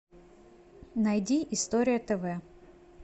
найди история тв